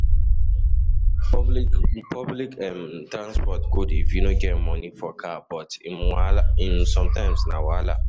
Public Public um transport good if you no get money for car, but um sometimes na wahala.